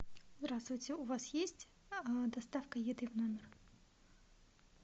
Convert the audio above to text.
здравствуйте у вас есть доставка еды в номер